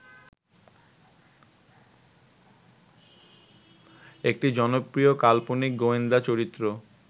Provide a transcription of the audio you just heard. একটি জনপ্রিয় কাল্পনিক গোয়েন্দা চরিত্র